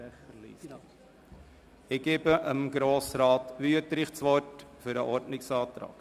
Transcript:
– Ich gebe Grossrat Wüthrich das Wort für den Ordnungsantrag.